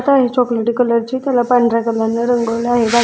चॉक्लेटी colour ची त्याला पांढर्‍या कलर नी रंगवल आहे.